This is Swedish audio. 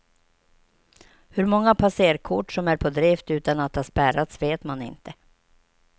Hur många passerkort som är på drift utan att ha spärrats vet man inte.